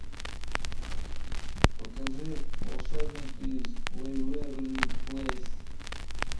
покажи волшебники из вэйверли плэйс